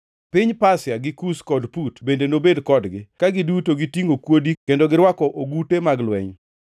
Piny Pasia, gi Kush kod Put bende nobed kodgi, ka giduto gitingʼo kuodi kendo girwako ogute mag lweny,